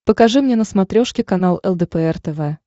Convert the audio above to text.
покажи мне на смотрешке канал лдпр тв